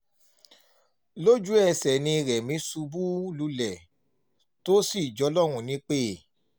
lójú ẹsẹ̀ ni rẹ́mi ṣubú lulẹ̀ tó sì jọlọ́run nípẹ́